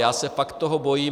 Já se fakt toho bojím.